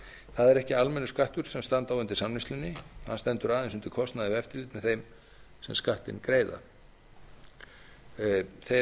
það er ekki almennur skattur sem standa á undir samneyslunni hann stendur aðeins undir kostnaði við eftirlitið með þeim sem skattinn greiða þeir